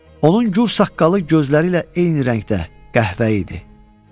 Onun gur saqqalı gözləri ilə eyni rəngdə qəhvəyi idi.